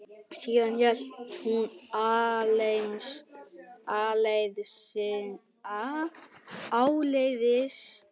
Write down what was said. Síðan hélt hún áleiðis til